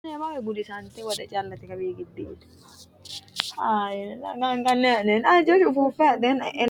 kuni biirote uduunne lawannohu su'misi maatiro xawisa dandaatto? konne uduunnicho mayiinni loonsoonniho? tini leeltanni nooti kolishsho wombare mayiinni loonsoonnite ?